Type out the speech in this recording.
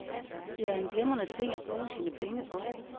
Det er en glimrende ting at bruge sine penge på.